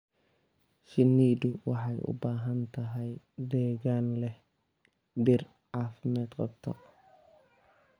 Shinnidu waxay u baahan tahay deegaan leh dhir caafimaad qabta.